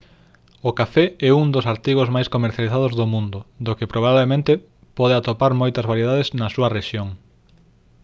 o café é un dos artigos máis comercializados no mundo do que probablemente pode atopar moitas variedades na súa rexión